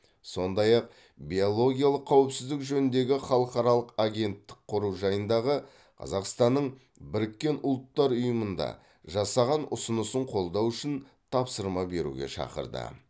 сондай ақ биологиялық қауіпсіздік жөніндегі халықаралық агенттік құру жайындағы қазақстанның біріккен ұлттар ұйымында жасаған ұсынысын қолдау үшін тапсырма беруге шақырды